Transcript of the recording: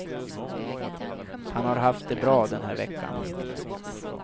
Han har haft det bra den här veckan.